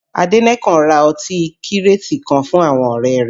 Adenekan ra ọtí kírètì kan fún àwọn ọ̀rẹ́ rẹ̀